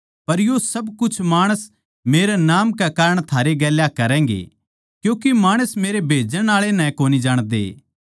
पर यो सब कुछ माणस मेरै नाम कै कारण थारै गेल्या करैगें क्यूँके माणस मेरै भेजण आळे नै कोनी जाणदे